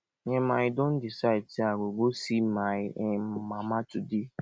um i don decide sey i go go see my um mama today